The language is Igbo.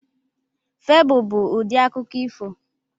Febụl bụ ụdị akụkọ ifo.